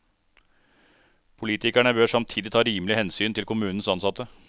Politikerne bør samtidig ta rimelig hensyn til kommunens ansatte.